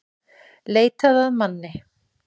Leitað að manni